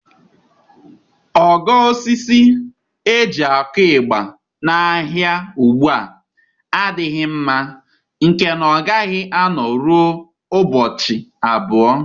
Ogo osisi eji akụ ịgba n'ahịa ugbu a adịghị mma, nke na ọ gaghị anọ rụọ ụbọchị abụọ.